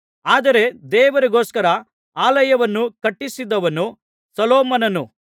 ಆದರೆ ದೇವರಿಗೋಸ್ಕರ ಆಲಯವನ್ನು ಕಟ್ಟಿಸಿದವನು ಸೊಲೊಮೋನನು